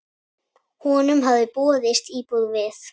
Honum hafði boðist íbúð við